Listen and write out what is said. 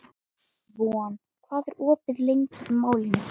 Von, hvað er opið lengi í Málinu?